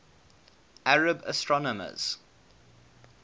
arab astronomers